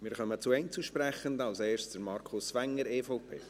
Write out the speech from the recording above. Wir kommen zu den Einzelsprechenden, als erster Markus Wenger, EVP.